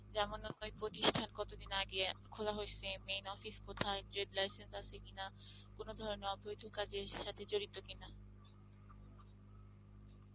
যেমন ধরো প্রতিষ্ঠান কত দিন আগে আ খোলা হয়েছে, মেন office কথায়, trade license আছে কিনা কোন ধরনের অবৈধ কাজের সাথে জড়িত কিনা